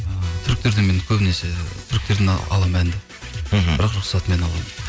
ы түріктерді мен көбінесе түріктерден аламын әнді мхм бірақ рұқсатымен аламын